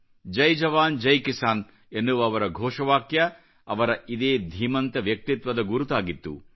ಜೈ ಜವಾನ್ ಜೈ ಕಿಸಾನ್ ಎನ್ನುವ ಅವರ ಘೋಷವಾಕ್ಯ ಅವರ ಇದೇ ಧೀಮಂತ ವ್ಯಕ್ತಿತ್ವದ ಗುರುತಾಗಿತ್ತು